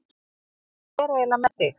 Hvernig er eiginlega með þig?